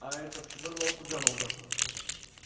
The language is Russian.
а этот вырвалось у джералда